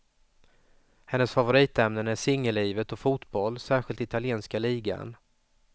Hennes favoritämnen är singellivet och fotboll, särskilt italienska ligan.